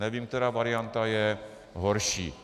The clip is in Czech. Nevím, která varianta je horší.